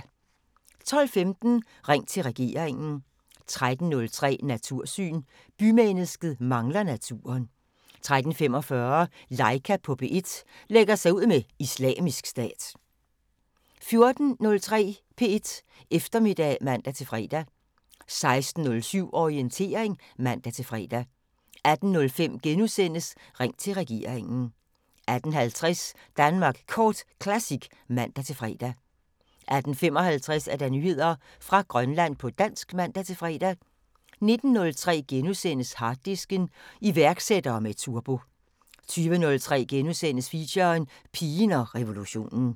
12:15: Ring til regeringen 13:03: Natursyn: Bymennesket mangler naturen 13:45: Laika på P1 – lægger sig ud med Islamisk Stat 14:03: P1 Eftermiddag (man-fre) 16:07: Orientering (man-fre) 18:05: Ring til regeringen * 18:50: Danmark Kort Classic (man-fre) 18:55: Nyheder fra Grønland på dansk (man-fre) 19:03: Harddisken: Iværksættere med turbo * 20:03: Feature: Pigen og revolutionen *